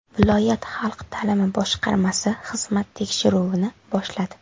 Viloyat xalq ta’limi boshqarmasi xizmat tekshiruvini boshladi.